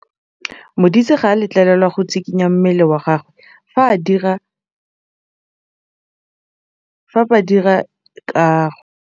Modise ga a letlelelwa go tshikinya mmele wa gagwe fa ba dira karô.